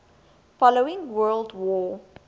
following world war